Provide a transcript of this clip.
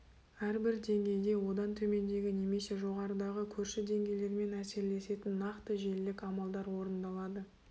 әрбір деңгейде одан төмендегі немесе жоғарыдағы көрші деңгейлермен әсерлесетін нақты желілік амалдар орындалады